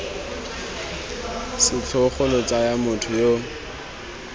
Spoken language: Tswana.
setlhogo lo tsaya motho yo